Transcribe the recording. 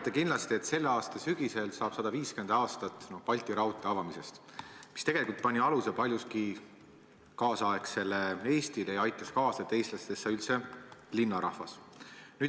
Te kindlasti teate, et selle aasta sügisel möödub 150 aastat hetkest, kui avati Balti raudtee, mis tegelikult pani tänapäeva Eestile paljuski aluse ja aitas kaasa sellele, et eestlastest sai üldse linnarahvas.